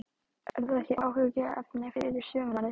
Er það ekki áhyggjuefni fyrir sumarið?